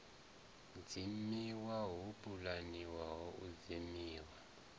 dzimiwa ho pulaniwaho u dzimiwa